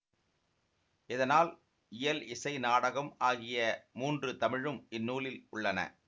இதனால் இயல் இசை நாடகம் ஆகிய மூன்று தமிழும் இந்நூலில் உள்ளன